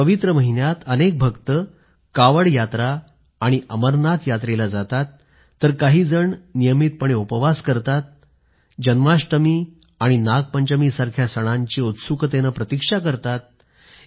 या पवित्र महिन्यात अनेक भक्त कावड यात्रा आणि अमरनाथ यात्रेला जातात तर काही जण नियमितपणे उपवास करतात आणि जन्माष्टमी आणि नागपंचमीसारख्या सणांची उत्सुकतेनं प्रतीक्षा करतात